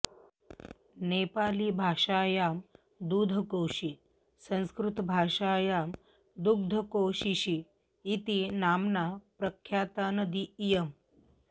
नेपाली भाषायां दुधकोशी संस्कृतभाषायां दुग्धकोशीशी इति नाम्ना प्रख्याता नदी इयम्